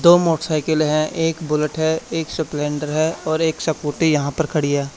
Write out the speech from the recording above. दो मोटरसाइकिल है एक बुलेट है एक स्प्लेंडर है और एक स्कूटी यहां पर खड़ी है।